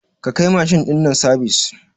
Ka kai mashin ɗin nan sabis